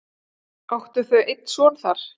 Áttu þau einn son þar.